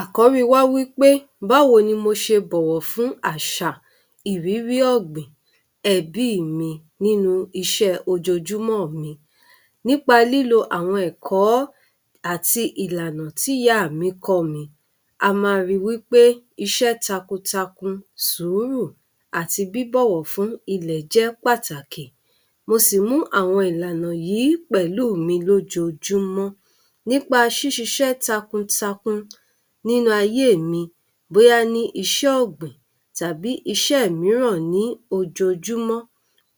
Àkọ́rí wa wípé báwo ní mo ṣe bọ̀wọ̀ fún àṣà ìrírí ọ̀gbìn ẹbí mi nínú iṣé ojojúmọ́ mi nípa lílo àwọn ẹ̀kọ́ ọ́ àti ìlànà tí ìyá mi kọ́ mi. A má ri wípé iṣẹ́ takuntakun, sùúrù àti bíbọ̀wọ̀ fún ilẹ̀ jẹ́ pàtàkì. Mo sì mú àwọn ìlànà yìí pẹ̀lú mí lójoojúmọ́ nípa sí sisẹ́ takuntakun nínú ayé mi bóyá ní iṣẹ́ ọ̀gbìn tàbí ìṣé mìíràn ní ojoojúmọ́,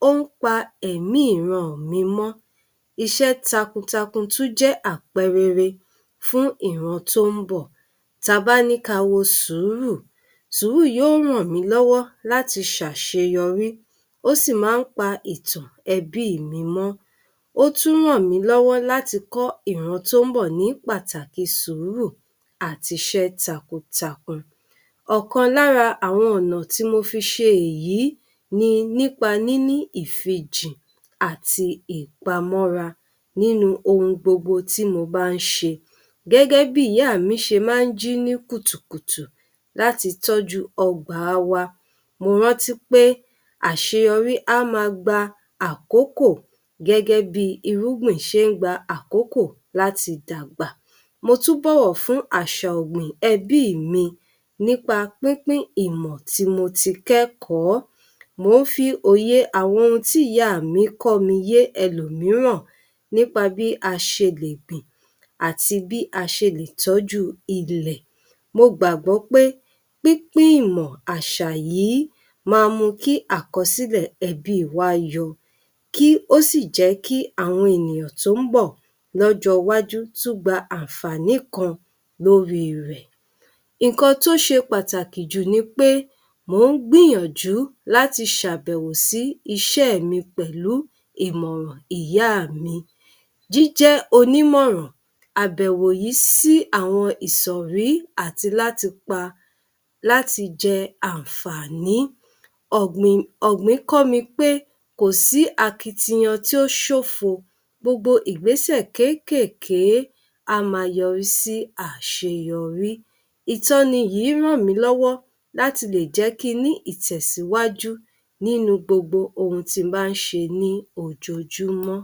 ó ń pa ẹ̀mí ìran mi mọ́. Iṣé takuntakun tó jẹ́ àpẹrere fún ìran tó ń bọ̀. Ta bá ní ká a wo sùúrù, sùúrù yóò ràn mí lọ́wọ́ láti ṣàṣeyọrí, ó sì má ń pa ètò ẹbí mi mọ. Ó tún ń rán mí lọ́wọ́ láti kọ̀ ìran tó ń bọ̀ ní pàtàkì sùúrù àti iṣẹ́ takuntakun. Ọ̀kan lára àwọn ọ̀nà tí mo fi ṣe èyí ni nípa níní ìfinjì àti ìpamọ́ra nínú ohun gbogbo tí mo bá ń se. Gẹ́gẹ́ bí ìyá mi ṣe ma ń jí ní kùtùkùtù láti tọ́jú ọgbà wa, mo rántí pé àṣeyọrí á má gba àkókò gẹ́gẹ́ bí i irúgbìn ṣe ń gba àkókò láti dàgbà. Mo tún bọ̀wọ̀ fún àṣà ọ̀gbìn ẹbí mi nípa pínpín ìmò tí mo ti kẹ́kọ̀ọ́, mo ń fi òye àwọn ohun tí ìyá mi kọ́ mi yé ẹlòmíràn nípa bí aṣe lè gbìn àti bíi a ṣe lè tọ́jú ilẹ̀. Mo gbàgbọ́ pé pínpín ìmọ̀ àṣà yìí ma mu kí àkọsílẹ̀ ẹbi wa yọ, kí ó ṣì jẹ́ kí àwọn ènìyàn tó ń bọ̀ lọ́jọ́ wájú tún gba àǹfààní kan lórí rẹ̀. Ǹkan tó ṣe pàtàkì jù nipé mò ń gbìyànjú láti ṣàbẹ̀wò sí ìṣé mí pẹ̀lú ìmòràn ìyà mi. Jíjẹ́ onímòràn àbẹ̀wò yìí si àwọn ìsòrí àti láti pa láti jẹ ànfàní. Ọ̀gbìn, ọ̀gbìn kọ́ mi pé kò sí akitiyan tí ó ṣófo, gbogbo ìgbésẹ̀ kékèké á má a yọrí sí àṣeyọrí. Ìtọ́ni yìí ràn mí lọ́wọ́ láti lè jẹ́ kí ń ní ìtẹ̀síwájú nínú gbogbo ohun tí n bá ń ṣe ní ojoojúmọ́.